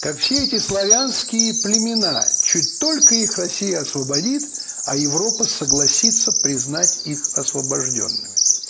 как все эти славянские племена чуть только их россия освободит а европа согласится признать их освобождёнными